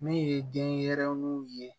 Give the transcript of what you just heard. Min ye denyɛrɛninw ye